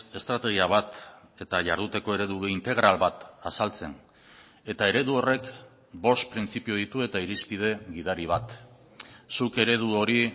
estrategia bat eta jarduteko eredu integral bat azaltzen eta eredu horrek bost printzipio ditu eta irizpide gidari bat zuk eredu hori